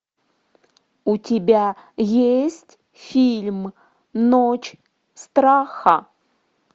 у тебя есть фильм ночь страха